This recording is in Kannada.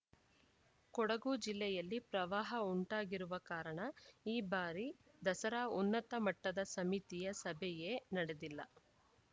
ಕೊಡಗು ಜಿಲ್ಲೆಯಲ್ಲಿ ಪ್ರವಾಹ ಉಂಟಾಗಿರುವ ಕಾರಣ ಈ ಬಾರಿ ದಸರಾ ಉನ್ನತ ಮಟ್ಟದ ಸಮಿತಿಯ ಸಭೆಯೇ ನಡೆದಿಲ್ಲ